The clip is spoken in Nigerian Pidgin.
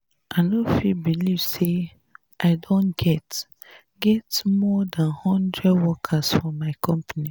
i no fit believe say i don get get more dan hundred workers for my company